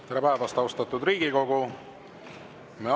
Tere päevast, austatud Riigikogu!